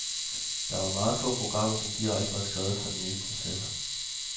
Der var meget få programmer, som direkte var skrevet for den nye processor.